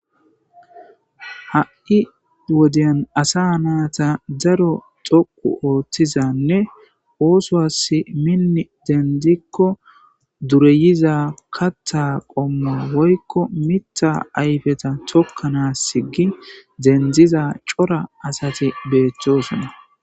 Ha7i wodiyan asaa naatha daro co7u ooththizanne oosuwaassi minni denddikko dureyiza kaththaa qommoy woykko miththaa ayfetha thokkanaassi gi denddiza cora asathi beeththoosona.